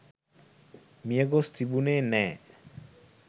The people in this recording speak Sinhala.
මිය ගොස් තිබුනේ නෑ.